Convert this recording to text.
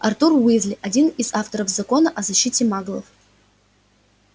артур уизли один из авторов закона о защите маглов